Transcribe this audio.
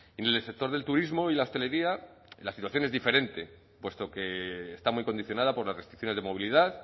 en el sector del turismo y la hostelería la situación es diferente puesto que está muy condicionada por las restricciones de movilidad